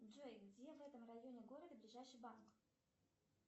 джой где в этом районе города ближайший банк